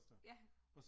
Ja